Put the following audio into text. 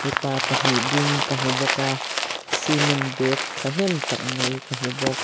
mipa pahnih ding ka hmu bawk a cement bag thahnem tak mai ka hmu bawk.